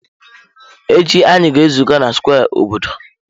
Echi, anyị ga-ezukọ na square obodo.